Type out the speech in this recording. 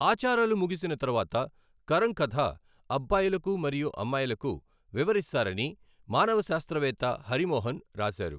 ఆచారాలు ముగిసిన తరువాత, కరం కథ అబ్బాయిలకు మరియు అమ్మాయిలకు వివరిస్తారని మానవశాస్త్రవేత్త హరి మోహన్ రాశారు.